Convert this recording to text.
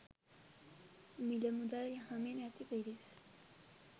මිල මුදල් යහමින් ඇති පිරිස්